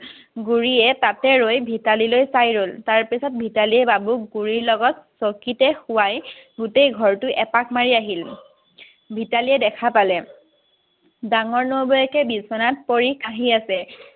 বুলিয়ে তাতে ৰৈ ভিতালী লৈ চাই ৰল তাৰ পিছত ভিতালীয়ে বাবুক বুলিৰ লগত চকিতে শুৱাই গোটেই ঘৰটো এপাক মাৰি আহিল, ভিতালীয়ে দেখা পালে ডাঙৰ নবৌৱেকে বিছনাত পৰি কাহি আছে